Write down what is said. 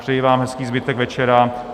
Přeji vám hezký zbytek večera.